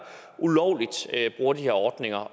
ulovligt bruger de her ordninger